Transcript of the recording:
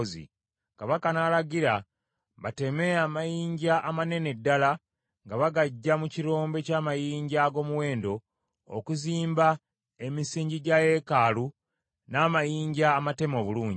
Kabaka n’alagira bateme amayinja amanene ddala nga bagaggya mu kirombe ky’amayinja ag’omuwendo, okuzimba emisingi gya yeekaalu n’amayinja amateme obulungi.